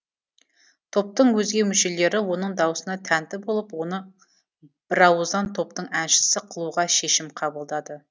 топтың өзге мүшелері оның даусына тәнті болып оны бірауыздан топтың әншісі қылуға шешім қабылдады